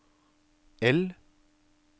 L